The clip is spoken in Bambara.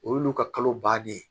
O y'olu ka kalo bannen ye